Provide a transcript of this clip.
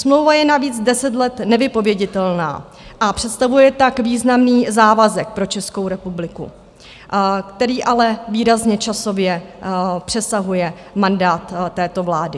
Smlouva je navíc 10 let nevypověditelná a představuje tak významný závazek pro Českou republiku, který ale výrazně časově přesahuje mandát této vlády.